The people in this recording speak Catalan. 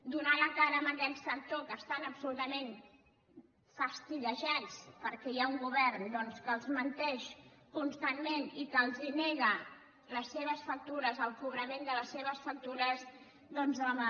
donar la cara amb aquest sector que estan absolutament fastiguejats perquè hi ha un govern doncs que els menteix constantment i que els nega les seves factures el cobrament de les seves factures doncs home